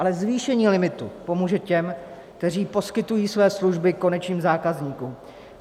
Ale zvýšení limitu pomůže těm, kteří poskytují své služby konečným zákazníkům.